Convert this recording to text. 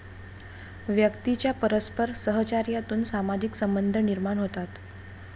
व्यक्तीच्या परस्पर सहचार्यातून सामाजिक संबंध निर्माण होतात.